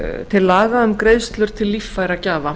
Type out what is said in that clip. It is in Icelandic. til laga um greiðslur til líffæragjafa